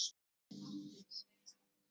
Þetta átti aldeilis við hann.